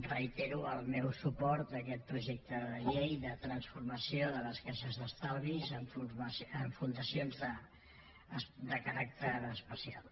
reitero el meu suport a aquest projecte de llei de transformació de les caixes d’estalvis en fundacions de caràcter especial